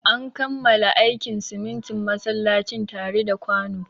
An kammala aikin sitintin masallacin tare da kwano.